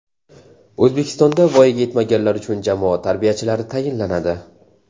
O‘zbekistonda voyaga yetmaganlar uchun jamoat tarbiyachilari tayinlanadi.